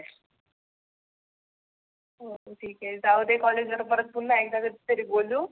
हे जाऊदे कॉलेज वर पुन्हा कधी तरी बोलू.